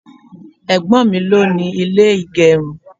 Ẹ̀gbọ́n mi ló ni ilé ìgerun.